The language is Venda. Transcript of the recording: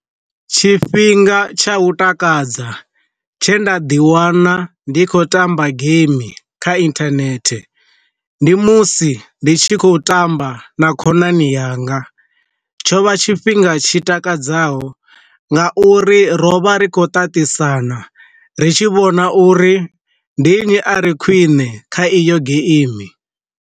Tshifhinga tsha u takadza tshe nda ḓi wana ndi khou tamba game kha inthanethe, ndi musi ndi tshi khou tamba na khonani yanga, tsho vha tshifhinga tshi takadzaho nga uri ro vha ri khou tatisana ri tshi vhona uri ndinyi a re khwine kha iyo geimi.